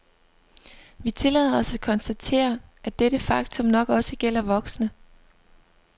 Vi tillader os at konstatere, at dette faktum nok også gælder voksne.